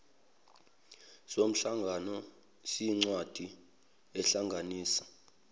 somhlangano siyincwadi ehlanganisa